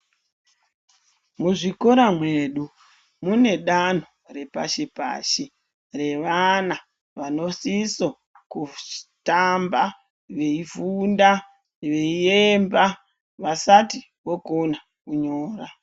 Muzvikora mwedu mune danho repashi-pashi revana vanosiso kutamba veifunda veiemba vasati vokona kunyora.